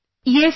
Yesyes